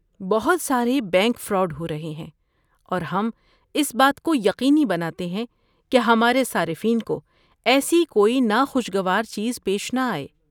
بہت سارے bank fraud ہو رہے ہیں اور ہم اس بات کو یقینی بناتے ہیں کہ ہمارے صارفین کو ایسی کوئی ناخوشگوار چیز پیش نہ آئے۔